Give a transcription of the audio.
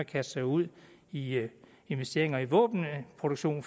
kaste sig ud i investeringer i våbenproduktion